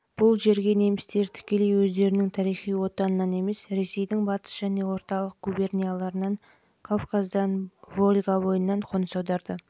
бұл жерге немістер тікелей өздерінің тарихи отанынан емес ресейдің батыс және орталық губернияларынан кавказдан волга бойынан қоныс аударды